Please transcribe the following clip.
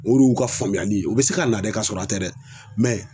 O de y'u ka faamuyali ye u bɛ se ka na dɛ ka sɔrɔ a tɛ dɛ